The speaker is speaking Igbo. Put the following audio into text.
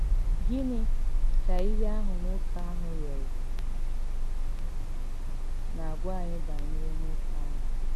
Gịnị́ kà íhè àhụ̀ nwókè àhụ̀ rịọrọ̀ nà-àgwà ànyị bànyèrè nwókè àhụ̀?